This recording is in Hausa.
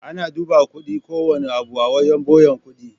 Ana duba kudin kowanne abu a wajan buyan kuɗi